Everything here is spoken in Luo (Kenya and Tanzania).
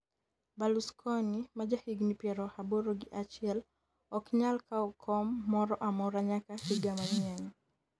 Berlusconi majahigni piero aboro gi achiel ok nyal kawo kom moro amora nyaka higa manyien